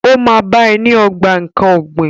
Ó máa bá ẹ ní ogbà nkán ọ̀gbìn.